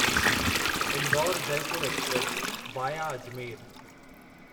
Indore Jaipur express via Ajmer